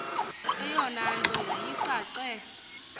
eyona nto yayicace